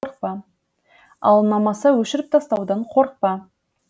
ал ұнамаса өшіріп тастаудан қорықпа